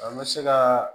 An bɛ se ka